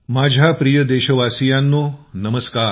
माझ्या प्रिय देशवासियांनो नमस्कार